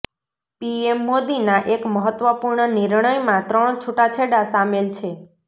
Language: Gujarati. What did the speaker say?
પીએમ મોદીના એક મહત્વપૂર્ણ નિર્ણયમાં ત્રણ છૂટાછેડા શામેલ છે